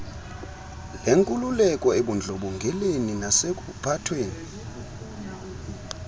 lenkululeko ebundlobongeleni nasekuphathweni